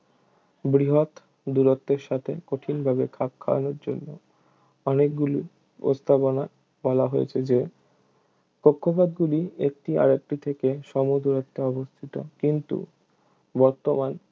বৃহৎ দূরত্বের সাথে কঠিন ভাবে খাপ খাওয়ানোর জন্য অনেকগুলো প্রস্তাবনায় বলা হয়েছে যে কক্ষপথগুলি একটি আরেকটি থেকে সমদূরত্বে অবস্থিত কিন্তু বর্তমান